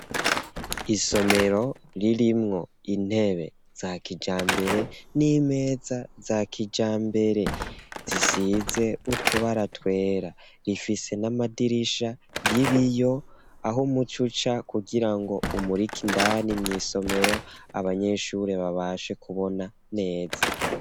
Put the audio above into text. Isomero ririmwo intebe, za kijambere, n'imeza za kijambere; zisize utubara twera, rifise n'amadirisha y'ibiyo, aho umuco uca, kugira ngo umurike indani mw'isomero, abanyeshure babashe kubona neza.